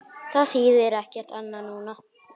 Það þýðir ekkert annað núna.